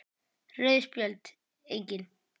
Rauð Spjöld: Engin.